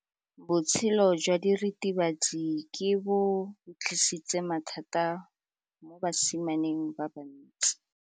Botshelo jwa diritibatsi ke bo tlisitse mathata mo basimaneng ba bantsi.